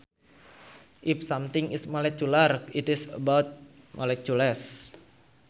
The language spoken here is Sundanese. If something is molecular it is about molecules